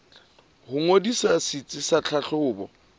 ho ngodisa setsi sa tlhahlobo